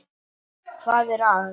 . hvað er að.